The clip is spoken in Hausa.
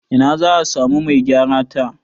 Ina za a samu Mai gyara ta?